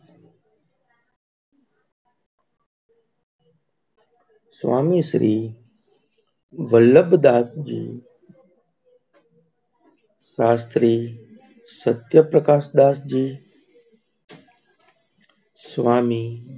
સ્વામી Shri Vallabh Das ji Shastri Satya Prakash Das જી,